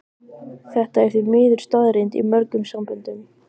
Þetta er því miður staðreynd í mörgum samböndum.